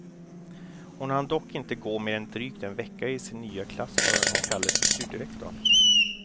Hon hann dock inte gå mer än drygt en vecka i sin nya klass förrän hon kallades till studierektorn.